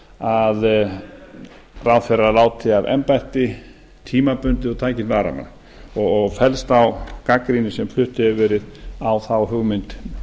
að ráðherrar láti af embætti tímabundið og taki inn varamann og fellst á gagnrýni sem flutt hefur verið á þá hugmynd